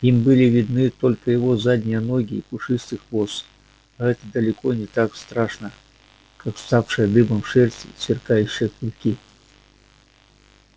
им были видны только его задние ноги и пушистый хвост а это далеко не так страшно как вставшая дыбом шерсть и сверкающие клыки